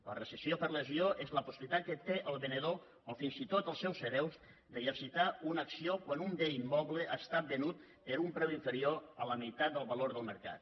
la rescissió per lesió és la possibilitat que té el venedor o fins i tot el seus hereus d’exercitar una acció quan un bé immoble ha estat venut per un preu inferior a la meitat del valor del mercat